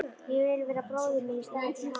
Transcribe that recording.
Ég vil vera bróðir minn í staðinn fyrir hann.